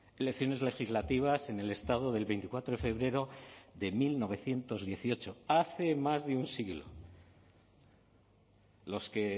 elecciones legislativas en el estado del veinticuatro de febrero de mil novecientos dieciocho hace más de un siglo los que